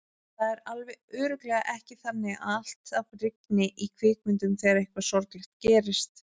Það er alveg örugglega ekki þannig að alltaf rigni í kvikmyndum þegar eitthvað sorglegt gerist.